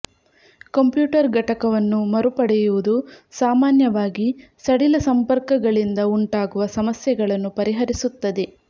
computer ಘಟಕವನ್ನು ಮರುಪಡೆಯುವುದು ಸಾಮಾನ್ಯವಾಗಿ ಸಡಿಲ ಸಂಪರ್ಕಗಳಿಂದ ಉಂಟಾಗುವ ಸಮಸ್ಯೆಗಳನ್ನು ಪರಿಹರಿಸುತ್ತದೆ